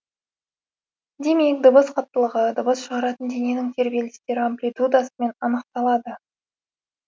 демек дыбыс қаттылығы дыбыс шығаратын дененің тербелістер амплитудасымен анықталады